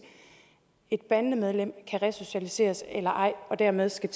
et bandemedlem kan resocialiseres eller ej og dermed skal